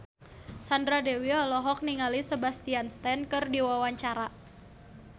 Sandra Dewi olohok ningali Sebastian Stan keur diwawancara